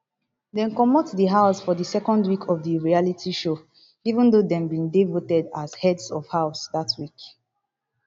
dem comot di house for di second week of di reality show even though dem bin dey voted as heads of house dat week